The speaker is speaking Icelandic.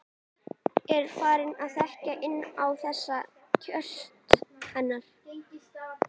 Er farin að þekkja inn á þessi köst hennar.